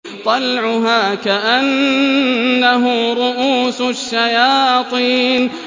طَلْعُهَا كَأَنَّهُ رُءُوسُ الشَّيَاطِينِ